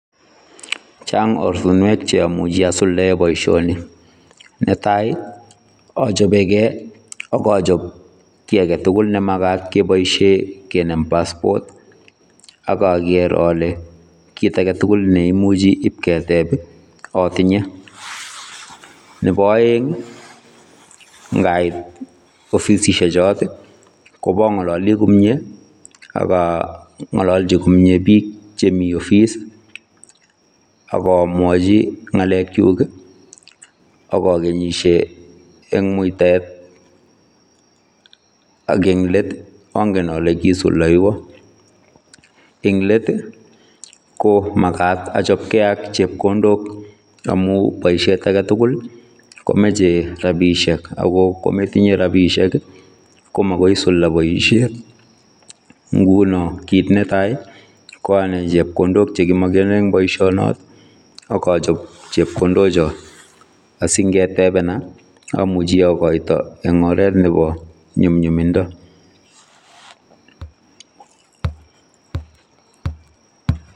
Chaang ortinweek che amuchei asuldaen boision nii ,ne tai ii achapeen gei akachaap my age tugul nemagaat kineem passport akager ale kiit age tugul neimachei imuuchi iip keteb ii amuchei atinyei, nebo aeng ii ko ngait offissiek choot ii ko bo ngalalii komyei ii akaa ngalaljiin komyei biik chemii offis ii agomwaji ngalek kyuuk ii akagenishe en mutaet ak en let III angeen ale kisulteiywaan ,eng let ii ko magaat achapkei ak chepkondook amuun boisiet age tugul ii komachei rapisheek ako kometinyei rapisheek ii ko magoisuldaa boisiet nguno ko kiit ne tai ko anai chepkondook chekimakenaan eng boisien nooot akachaap chepkondook chaai asingetebenaa. Amuchei agoitoi eng oret nebo nyumnyuminda.